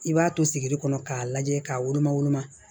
I b'a to sigi de kɔnɔ k'a lajɛ k'a woloma woloma